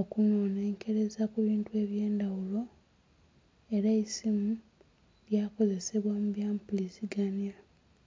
okunhonhenkereza ku bintu eby'endhaghulo, era eisimu lyakozesebwa mu bya mpuliziganya.